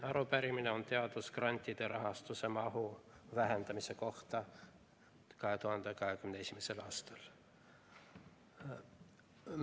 Arupärimine on teadusgrantide rahastuse mahu vähendamise kohta 2021. aastal.